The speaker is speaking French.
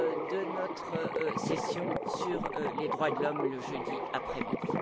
de notre session sur les droits de l'homme du jeudi après midi.